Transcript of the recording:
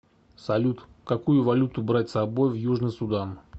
салют какую валюту брать с собой в южный судан